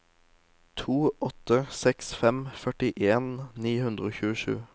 to åtte seks fem førtien ni hundre og tjuesju